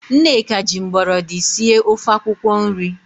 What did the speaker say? Nneka ji mgbọrọdị sie ofe akwụkwo nri.